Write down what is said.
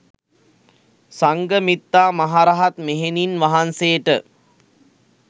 සංඝමිත්තා මහ රහත් මෙහෙණින් වහන්සේට